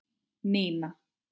Nína!